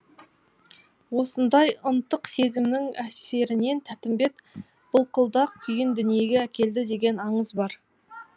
осындай ынтық сезімнің әсерінен тәттімбет былқылдақ күйін дүниеге әкелді деген аңыз бар